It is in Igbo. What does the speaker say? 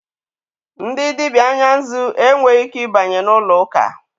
Ndị dibịa anya nzụ e nweghị ike ịbanye n'ụlọ ụka.